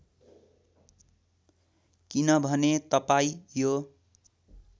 किनभने तपाईँ यो